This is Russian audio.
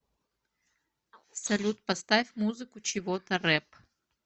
салют поставь музыку чего то реп